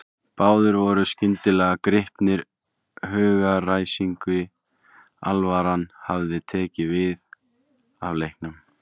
Báðir voru skyndilega gripnir hugaræsingi, alvaran hafði tekið við af leiknum.